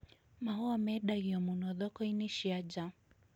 Mahũa mendagio mũno thoko-inĩ cia nja.